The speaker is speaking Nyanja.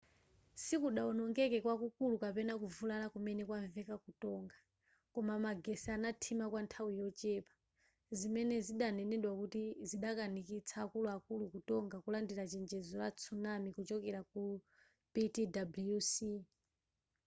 sikudawonongeke kwakukulu kapena kuvulala kumene kwamveka ku tonga koma magetsi anathima kwa nthawi yochepa zimene zidanenedwa kuti zidakanikitsa akuluakulu ku tonga kulandira chenjezo la tsunami kuchokera ku ptwc